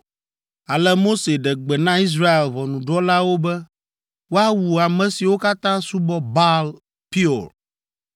Ale Mose ɖe gbe na Israel ʋɔnudrɔ̃lawo be woawu ame siwo katã subɔ Baal Peor.